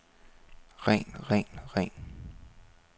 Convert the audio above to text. ren ren ren